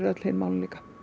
öll hin málin líka